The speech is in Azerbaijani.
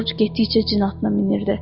Corc getdikcə cin atına minirdi.